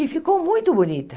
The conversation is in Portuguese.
E ficou muito bonita.